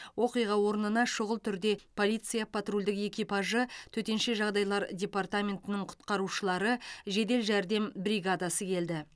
оқиға орнына шүғыл түрде полиция патрульдік экипажы төтенше жағдайлар департаментінің құтқарушылары жедел жәрдем бригадасы келді